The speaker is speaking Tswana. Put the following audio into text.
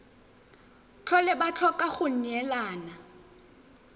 tlhole ba tlhoka go neelana